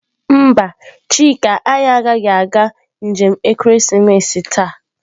Mba, chika anyi agaghi aga njem ekeresimesi taa.